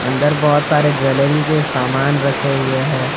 अंदर बहुत सारे ज्वेलरी के सामान रखे हुए हैं।